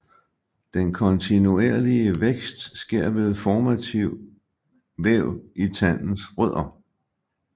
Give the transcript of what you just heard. Den kontinuerlige vækst sker ved formativ væv i tandens rødder